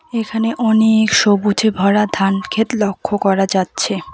এখানে অনেক সবুজে ভরা ধান ক্ষেত লক্ষ্য করা যাচ্ছে।